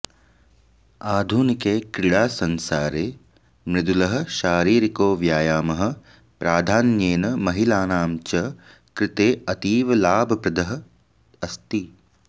आधुनिके क्रीडासंसारे मृदुलः शारीरिको व्यायामः प्राधान्येन महिलानां च कृते अतीव लाभप्रदः अस्ति